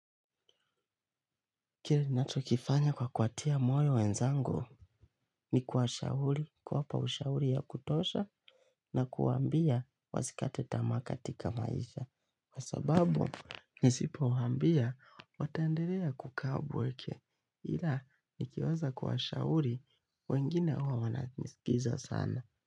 Kile ninacho kifanya kwa kuwatia moyo wenzangu ni kuwashauri kuwapa ushauri ya kutosha, na kuwaambia wasikate tamaa katika maisha. Kwa sababu ni sipowaambia wataendelea kukaa upweke, ila nikiweza kuwashauri, wengine huwa wananisikiza sana.